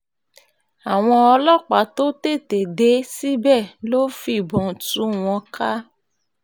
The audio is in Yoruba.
àwọn ọlọ́pàá tó tètè dé síbẹ̀ ló fìbọn tú wọn ká